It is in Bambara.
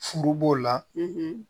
Furu b'o la